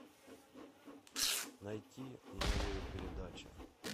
найти новые передачи